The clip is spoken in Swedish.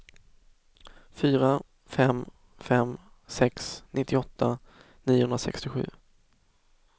fyra fem fem sex nittioåtta niohundrasextiosju